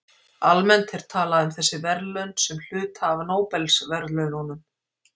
Almennt er talað um þessi verðlaun sem hluta af Nóbelsverðlaununum.